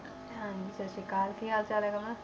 ਹਾਂਜੀ ਸਤਿ ਸ੍ਰੀ ਅਕਾਲ, ਕੀ ਹਾਲ ਚਾਲ ਹੈ ਰਮਨ,